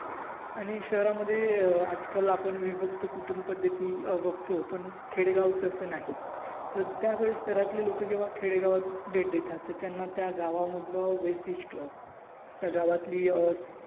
आणि शहरामध्ये अं आजकाल आपण विभक्त कुटुंब पद्धती बगतो पण खेडेगाव तस नाही त्यावेलेस घरातील लोक जेव्हा खेडेगावात भेट देतात तर त्यांना त्या गावमधलं वैशिट्य त्या गावातील